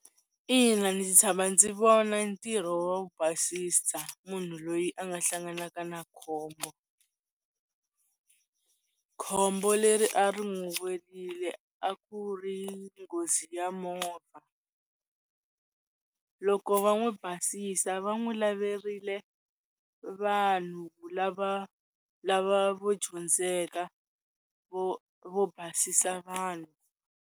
Ina, ndzi tshama ndzi vona ntirho wo basisa munhu loyi a nga hlanganaka na khombo, khombo leri a ri n'wu welile a ku ri nghozi ya va movha, loko va n'wu basisa va n'wu laverile vanhu lava lava vo dyondzeka vo vo basisa vanhu.